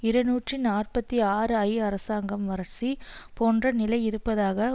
இருநூற்றி நாற்பத்தி ஆறு ஐ அரசாங்கம் வரட்சி போன்ற நிலை இருப்பதாக